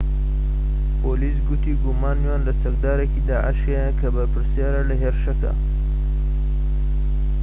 پۆلیس گوتی گومانیان لە چەکدارێکی داعش هەیە کە بەرپرسیارە لە هێرشەکە